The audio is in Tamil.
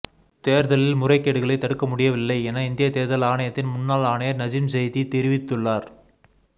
தேர்தலில் முறைகேடுகளை தடுக்க முடியவில்லை என இந்திய தேர்தல் ஆணையத்தின் முன்னாள் ஆணையர் நஜிம் ஜைதி தெரிவித்துள்ளார்